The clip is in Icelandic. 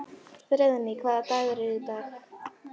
Friðný, hvaða dagur er í dag?